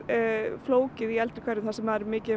flókið í eldri hverfum þar sem er mikið af